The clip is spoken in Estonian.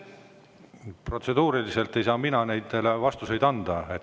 Protseduuriliselt ei saa mina neid vastuseid anda.